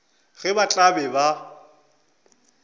ge ba tla be ba